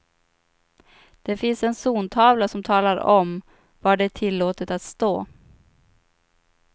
Det finns en zontavla som talar om var det är tillåtet att stå.